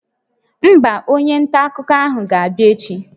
Mba, onye nta akụkọ ahụ ga-abịa echi